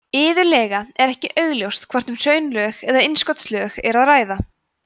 iðulega er ekki augljóst hvort um hraunlög eða innskotslög er að ræða